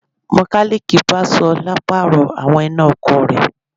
Mọkálíìkì bá Ṣọlá Pààrọ̀ àwọn iná ọkọ̀ rẹ̀